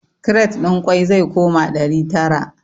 Kiret ɗin ƙwai zai koma ɗari tara